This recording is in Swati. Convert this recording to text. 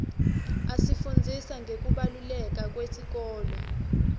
asifundzisa ngekubaluleka iwesikolo